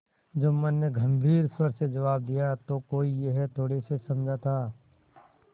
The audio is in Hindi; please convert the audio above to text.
जुम्मन ने गम्भीर स्वर से जवाब दियातो कोई यह थोड़े ही समझा था